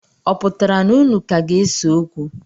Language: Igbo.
Ọ pụtara na unu ka ga-ese okwu?